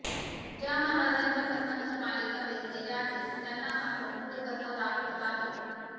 ज्या महाराजांच्या कथांवर मालिका बेतलेल्या आहेत त्यांना मात्र मूळ कथा दाखवत आहेत